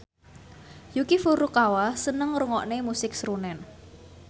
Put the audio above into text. Yuki Furukawa seneng ngrungokne musik srunen